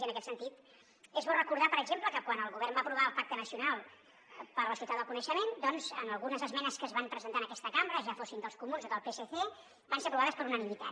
i en aquest sentit és bo recordar per exemple que quan el govern va aprovar el pacte nacional per a societat del coneixement doncs algunes esmenes que es van presentar en aquesta cambra ja fossin dels comuns o del psc van ser aprovades per unanimitat